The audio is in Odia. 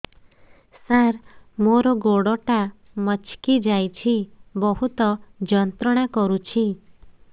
ସାର ମୋର ଗୋଡ ଟା ମଛକି ଯାଇଛି ବହୁତ ଯନ୍ତ୍ରଣା କରୁଛି